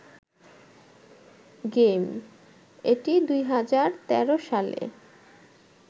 game, এটি ২০১৩ সালে